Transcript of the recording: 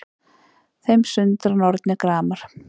Þeim sundra nornir gramar